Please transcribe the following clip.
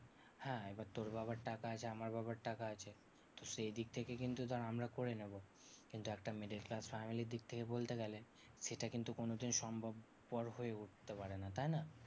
হ্যাঁ এবার তোর বাবার টাকা আছে আমার বাবার টাকা আছে তো সেই দিক থেকে কিন্তু তাও আমরা করে নেবো। কিন্তু একটা middle class family র দিক থেকে বলতে গেলে, সেটা কিন্তু কোনোদিন সম্ভবপর হয়ে উঠতে পারে না, তাইনা?